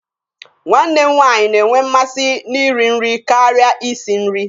Nwanne m nwaanyị na-enwe mmasị na ị ri nri karịa ị si nri.